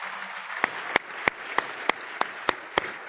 Ringrazio a nome del Parlamento europeo